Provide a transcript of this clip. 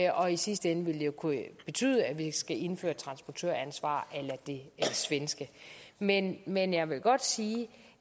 og i sidste ende vil det kunne betyde at vi skal indføre et transportøransvar a det svenske men men jeg vil godt sige